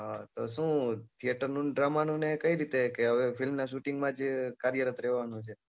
હા તો શું theater નું ને drama નું કઈ રીતે કે હવે film ના shooting માં જ કાર્યરત રેવા નું છે